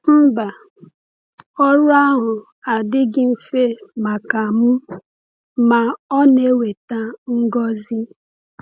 Mba, ọrụ ahụ adịghị mfe maka m, ma ọ na-eweta ngọzi.